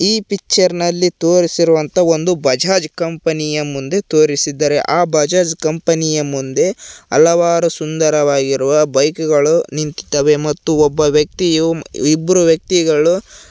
ಈ ಪಿಕ್ಚರ್ನಲ್ಲಿ ತೋರಿಸಿರುವಂತ ಒಂದು ಬಜಾಜ್ ಕಂಪನಿಯ ಮುಂದೆ ತೋರಿಸಿದ್ದಾರೆ ಆ ಬಜಾಜ್ ಕಂಪನಿಯ ಮುಂದೆ ಹಲವಾರು ಸುಂದರವಾಗಿರುವ ಬೈಕುಗಳು ನಿಂತಿದ್ದವೆ ಮತ್ತು ಒಬ್ಬ ವ್ಯಕ್ತಿಯು ಇಬ್ರು ವ್ಯಕ್ತಿಗಳು--